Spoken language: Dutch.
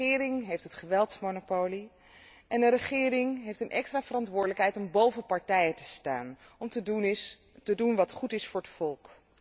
Een regering heeft het geweldsmonopolie en een regering heeft een extra verantwoordelijkheid om boven partijen te staan, om te doen wat goed is voor het volk.